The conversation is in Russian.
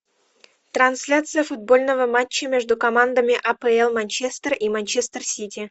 трансляция футбольного матча между командами апл манчестер и манчестер сити